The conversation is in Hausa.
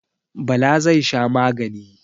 Bala zai sha magani.